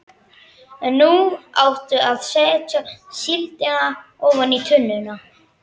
En nú áttu að setja síldina ofan í tunnuna.